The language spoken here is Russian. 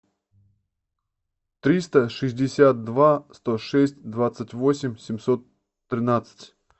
триста шестьдесят два сто шесть двадцать восемь семьсот тринадцать